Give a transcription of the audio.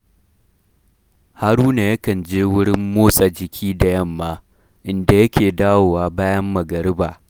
Haruna yakan je wurin motsa jiki da yamma, inda yake dawowa bayan magariba.